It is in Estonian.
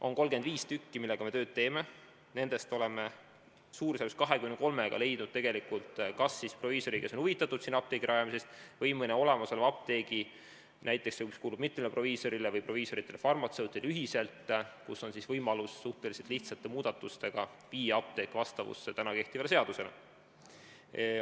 On 35 asulat, millega me tööd teeme, umbes 23-le oleme leidnud kas proviisori, kes on huvitatud sinna apteegi rajamisest, või mõne olemasoleva apteegi, mis kuulub näiteks mitmele proviisorile või proviisoritele-farmatseutidele ühiselt, nii et on võimalus suhteliselt lihtsate muudatustega viia apteek vastavusse kehtiva seadusega.